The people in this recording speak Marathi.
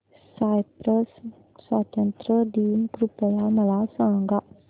सायप्रस स्वातंत्र्य दिन कृपया मला सांगा